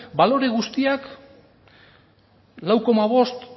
balore guztiak lau koma bost